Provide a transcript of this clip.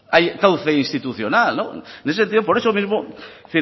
cauce institucional en ese sentido por eso mismo